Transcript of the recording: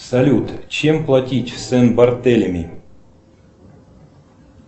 салют чем платить в сен бартелеми